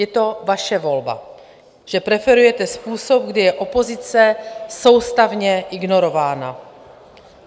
Je to vaše volba, že preferujete způsob, kdy je opozice soustavně ignorována.